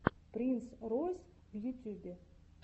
принс ройс в ютьюбе